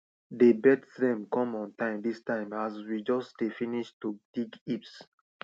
dey birds dem come on time dis time as we just dey finish to dig heaps